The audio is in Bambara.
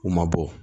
U ma bɔ